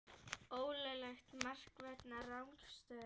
Ólöglegt mark vegna rangstöðu?